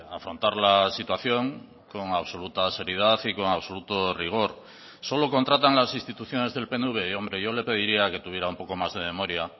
afrontar la situación con absoluta seriedad y con absoluto rigor solo contratan las instituciones del pnv hombre yo le pediría que tuviera un poco más de memoria